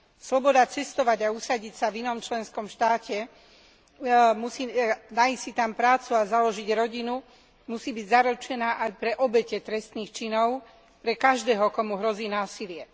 Sloboda cestovať a usadiť sa v inom členskom štáte, nájsť si tam prácu a založiť rodinu musí byť zaručená aj pre obete trestných činov, pre každého, komu hrozí násilie.